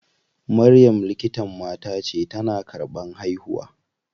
Maryam likitan mata ce, tana karɓan haihuwa.